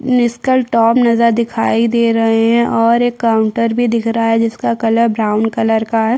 निस्कल top नज़र दिखाई दे रहॆ है और एक काउंटर भी दिख रहा है जिसका कलर ब्राउन कलर का हैं ।